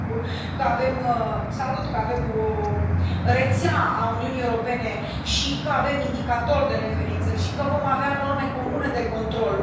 Și mă bucur că avem o rețea a Uniunii Europene și că avem indicatori de referință și că vom avea norme comune de control.